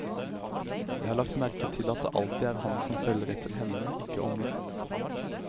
Jeg har lagt merke til at det alltid er han som følger etter henne, ikke omvendt.